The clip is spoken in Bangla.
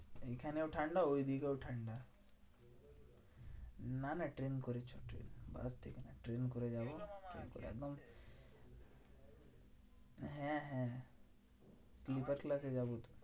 এখানেও ঠান্ডা ওইদিকেও ঠান্ডা। না না ট্রেন করে চো ট্রেন ট্রেন করে যাবো ট্রেন করে একদম হ্যাঁ হ্যাঁ হ্যাঁ sleeper class এ যাবো।